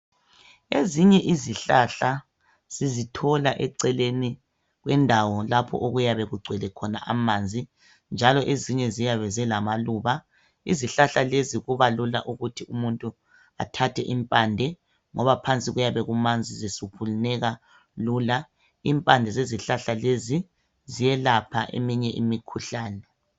Ezinye izihlahla sizithola eceleni kwendawo lapho okuyabe kugcwele khona amanzi njalo ezinye ziyabe zilamaluba izihlahla lezi kubalula ukuthi umuntu athathe impande ngoba phansi kuyabe kumanzi zisuphuneka lula , impande zezihlahla lezi ziyelapha eminye imikhuhlane.